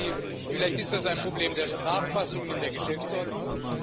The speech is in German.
Ich bitte Sie vielleicht ist das ein Problem der Sprachfassungen in der Geschäftsordnung.